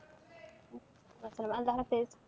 অসাল্লাম আল্লা হাফিজ।